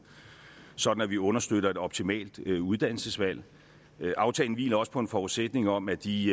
sådan at vi understøtter et optimalt uddannelsesvalg aftalen hviler også på en forudsætning om at de